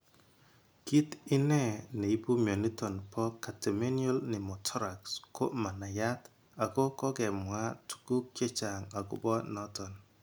Kit ine ne ipu mioniton po Catamenial pneumothorax ko ma nayat ago kogemwa tuguk chechang agopo noton.